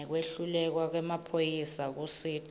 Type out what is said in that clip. ngekwehluleka kwemaphoyisa kusita